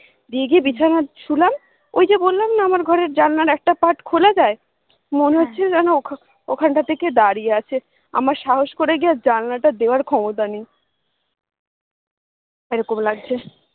দিয়ে গিয়ে বিছানায় শুলাম, ঐ যে বললাম না আমার ঘরের জানালার একটা part খোলা যায়, মনে হছছিল ওখানটাতেই কে দাঁড়িয়ে আছে, আমার সাহস করে গিয়ে আর জানালাটা দেওয়ার ক্ষমতা নেই,